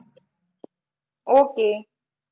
okay